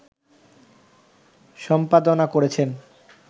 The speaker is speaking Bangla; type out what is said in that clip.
সম্পাদনা করেছেন